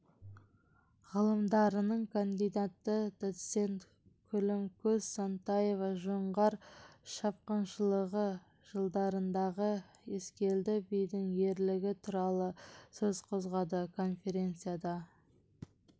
ғылымдарының кандидаты доцент күлімкөз сантаева жоңғар шапқыншылығы жылдарындағы ескелді бидің ерлігі туралы сөз қозғады конференцияда